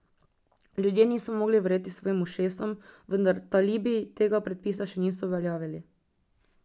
Ljudje niso mogli verjeti svojim ušesom, vendar talibi tega predpisa še niso uveljavili.